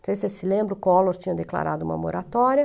Não sei se você se lembra, o Collor tinha declarado uma moratória,